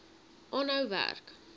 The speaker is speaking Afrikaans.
aanhou werk